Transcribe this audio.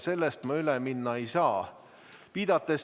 Sellest ma üle minna ei saa.